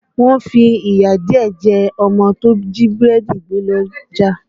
Wọ́n fi ìyà díẹ̀ jẹ ọmọ tó jí búrẹ́dì gbé lọ́jà